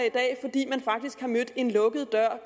i dag fordi man faktisk har mødt en lukket dør